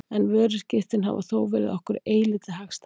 En vöruskiptin hafa þó verið okkur eilítið hagstæðari.